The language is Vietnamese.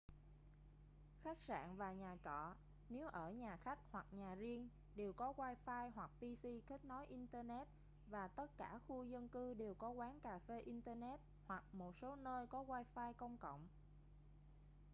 khách sạn và nhà trọ nếu ở nhà khách hoặc nhà riêng đều có wifi hoặc pc kết nối internet và tất cả khu dân cư đều có quán cà phê internet hoặc một số nơi có wifi công cộng